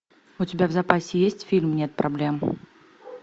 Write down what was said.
у тебя в запасе есть фильм нет проблем